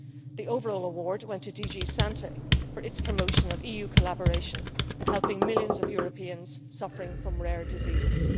The overall award went to DG SANTE for its promotion of EU collaboration in helping millions of Europeans suffering from rare diseases.